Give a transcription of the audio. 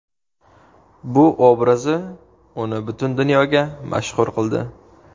Bu obrazi uni butun dunyoga mashhur qildi.